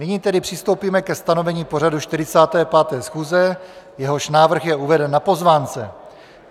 Nyní tedy přistoupíme ke stanovení pořadu 45. schůze, jehož návrh je uveden na pozvánce.